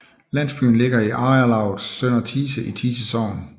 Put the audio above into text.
Landsbyen ligger i ejerlavet Sønder Thise i Thise Sogn